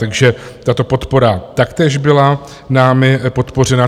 Takže tato podpora taktéž byla námi podpořena.